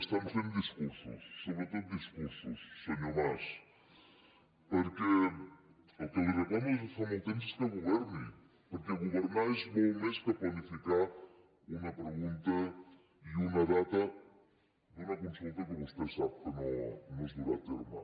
estan fent discursos sobretot discursos senyor mas perquè el que li reclamo des de fa molt temps és que governi perquè governar és molt més que planificar una pregunta i una data d’una consulta que vostè sap que no es durà a terme